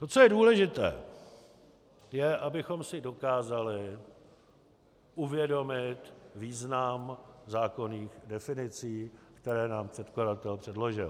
To, co je důležité, je, abychom si dokázali uvědomit význam zákonných definicí, které nám předkladatel předložil.